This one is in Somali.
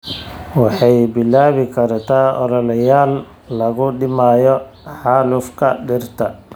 Waxay bilaabi kartaa ololeyaal lagu dhimayo xaalufka dhirta.